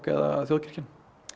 eða þjóðkirkjan